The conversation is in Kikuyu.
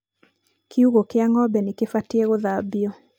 kiugũ kia ng'ombe nĩkĩbatiĩ gũthambio